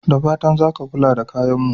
Da fatan za a kula da kayan mu.